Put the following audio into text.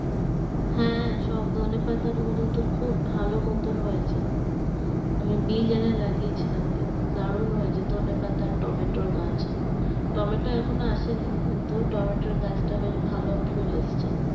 হ্যাঁ সব ধনেপাতার ও গুলোতো খুব ভালো মতোন হয়েছে আমি বীজ এনে লাগিয়েছিলাম দারুন হয়েছে ধনেপাতা টমেটোর গাছ টমেটো এখন ও আসেনি কিন্তু টমেটোর গাছ টা বেশ ভালো ফুল এসছে